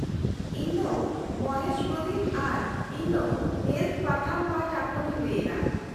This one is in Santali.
- ᱤᱧ ᱫᱚ ᱢᱚᱦᱮᱥ ᱯᱨᱚᱫᱤᱢ ᱟᱨ ᱤᱧ ᱫᱚ ᱦᱮᱞᱚᱛᱷ ᱯᱟᱛᱷᱟᱢ ᱯᱟᱦᱚᱴᱟ ᱠᱷᱚᱱᱤᱧ ᱞᱟᱹᱭ ᱮᱫᱟ᱾